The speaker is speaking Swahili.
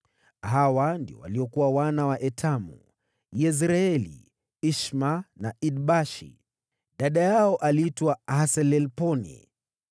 Hawa ndio waliokuwa wana wa Etamu: Yezreeli, Ishma na Idbashi. Dada yao aliitwa Haselelponi.